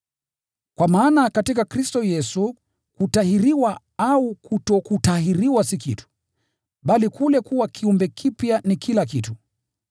Kwa maana katika Kristo Yesu, kutahiriwa au kutokutahiriwa si kitu, bali kule kuwa kiumbe kipya ni kila kitu!